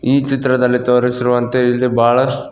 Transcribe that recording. ಈ ಚಿತ್ರದಲ್ಲಿ ತೋರಿಸಿರುವಂತೆ ಇಲ್ಲಿ ಬಹಳಷ್ಟು--